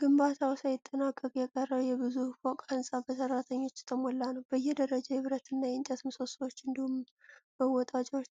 ግንባታው ሳይጠናቀቅ የቀረ የብዙ ፎቅ ሕንፃ በሠራተኞች የተሞላ ነው። በየደረጃው የብረትና የእንጨት ምሰሶዎች እንዲሁም መወጣጫዎች